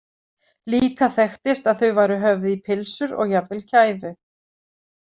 Líka þekktist að þau væru höfð í pylsur og jafnvel kæfu.